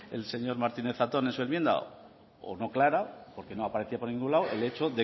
el señor martínez zatón en su enmienda o no clara porque no aparecía por ningún lado el hecho